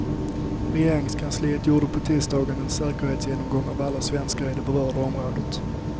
Regeringskansliet gjorde på tisdagen en säkerhetsgenomgång av alla svenskar i det berörda området.